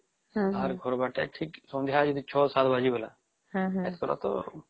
ଆର ଘର ବାର ତା ଠିକ ସନ୍ଧ୍ୟା ୬୭ ବାଜି ଗଲା ଏଥର ତା